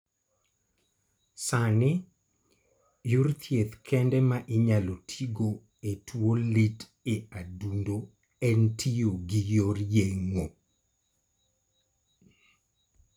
Sani, yor thieth kende ma inyalo tigo e tuo lit e adundo en tiyo gi yor yeng'o.